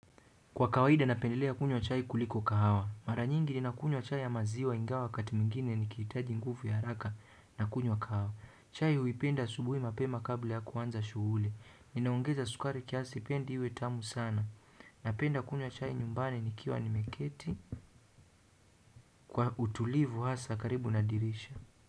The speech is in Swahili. Kwa kawaida napendelea kunywa chai kuliko kahawa. Mara nyingi ninakunywa chai ya maziwa ingawa wakati mwingine nikihitaji nguvu ya haraka nakunywa kahawa. Chai huipenda asubuhi mapema kabla ya kuanza shughuli. Ninaongeza sukari kiasi pindi iwe tamu sana. Napenda kunywa chai nyumbani nikiwa nimeketi kwa utulivu hasa karibu na dirisha.